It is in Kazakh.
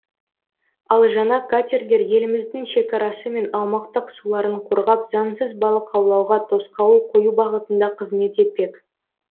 ал жаңа катерлер еліміздің шекарасы мен аумақтық суларын қорғап заңсыз балық аулауға тосқауыл қою бағытында қызмет етпек